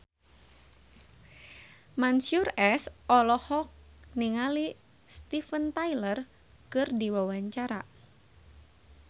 Mansyur S olohok ningali Steven Tyler keur diwawancara